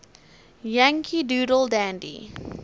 yankee doodle dandy